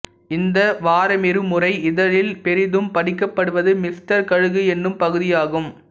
இந்த வாரமிருமுறை இதழில் பெரிதும் படிக்கப்படுவது மிஸ்டர் கழுகு என்னும் பகுதி ஆகும்